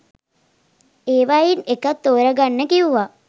ඒවයින් එකක් තෝරගන්න කිව්වා.